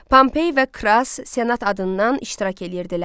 Pompey və Kras Senat adından iştirak eləyirdilər.